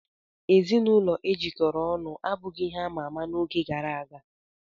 Ezinụlọ e jikọrọ ọnụ abụghị ihe ama ama n'oge gara aga.